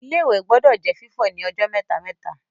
Ilé-ìwẹ̀ gbọdọ̀ jẹ́ fífọ̀ ní ọjọ́ mẹ́ta-mẹ́ta